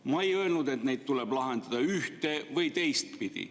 Ma ei öelnud, et neid tuleb lahendada ühte‑ või teistpidi.